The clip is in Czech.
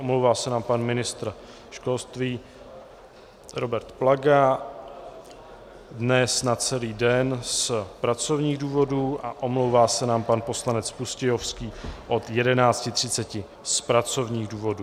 Omlouvá se nám pan ministr školství Robert Plaga dnes na celý den z pracovních důvodů a omlouvá se nám pan poslanec Pustějovský od 11.30 z pracovních důvodů.